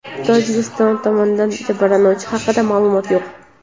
Tojikiston tomonidan jabrlanganlar haqida ma’lumot yo‘q.